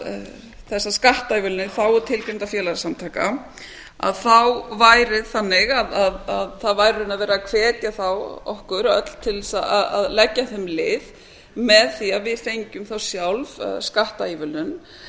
þessar skattaívilnanir í þágu tilgreindra félagasamtaka þá væri það þannig að það væri þá verið að hvetja okkur öll til að leggja þeim lið með því að við fengjum þá sjálf skattaívilnun